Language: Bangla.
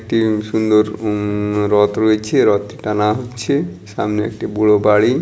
কি সুন্দর উমম রথ রয়েছে রথটা টানা হচ্ছে সামনে একটি বুড়ো বাড়ি।